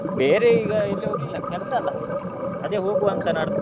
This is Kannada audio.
ಬೇರೆ ಈಗ ಎಲ್ಲಿ ಹೋಗ್ಲಿಲ್ಲ ಕೆಲಸ ಅಲ್ಲಅದೇ ಹೋಗುವ ಅಂತ ನಾಡ್ದು.